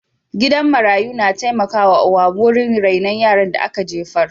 Gidan marayu na taimakawa wurin rainon yaran da ka jefar.